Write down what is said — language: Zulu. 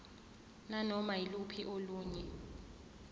nanoma yiluphi olunye